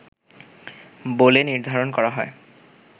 বলে নির্ধারণ করা হয়